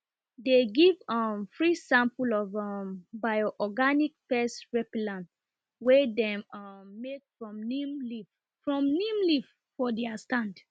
dem give um free sample of um bioorganic pest repellent wey dem um make from neem leaf for neem leaf for dia stand